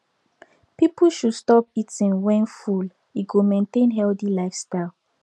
people should stop eating when full e go maintain healthy lifestyle